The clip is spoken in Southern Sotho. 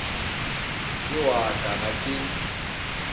ke wa ka ha ke